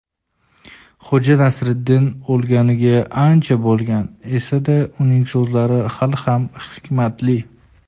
Xo‘ja Nasriddin o‘lganiga ancha bo‘lgan esa-da uning so‘zlari hali ham hikmatli.